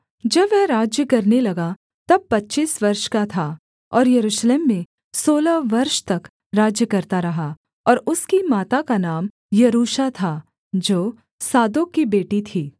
जब वह राज्य करने लगा तब पच्चीस वर्ष का था और यरूशलेम में सोलह वर्ष तक राज्य करता रहा और उसकी माता का नाम यरूशा था जो सादोक की बेटी थी